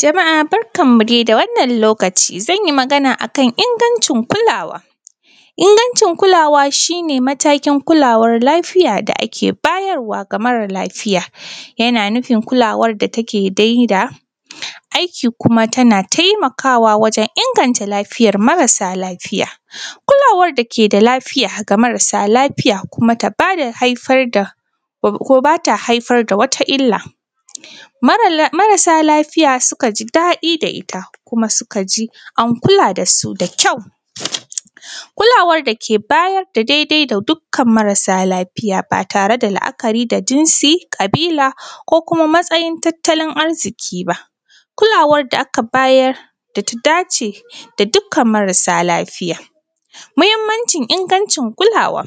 Jama’a barkanmu dai da wannan lokaci zan yi magana akan ingancin kulawa, inganʧin kulawa shi ne matakin kulawar lafiya da ake bayarwa ga mara lafiya; yana nufin kulawar da take dai da aiki kuma tana taimakawa wajen inganta lafiyar marasa lafiya. Kulawar da ke da lafiya ga marasa lafiya kuma ta bada haifar da kuma ba ta haifar da wata illa marasa lafiya sukan ji daɗi da ita kuma suka ji an kula da su da kyau kulawar da ke bayar da daidai ga dukkan marasa lafiya, ba tare da la’akari da jinsi ko da ƙabila ko kuma matsayin tattalin arziki ba; kulawar da aka bayar da ta dace da dukkan marasa lafiya. Mahimmancin ingancin kulawa,